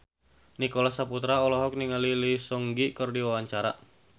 Nicholas Saputra olohok ningali Lee Seung Gi keur diwawancara